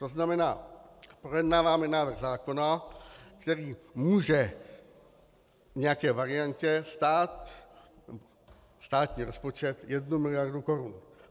To znamená, projednáváme návrh zákona, který může v nějaké variantě stát státní rozpočet jednu miliardu korun.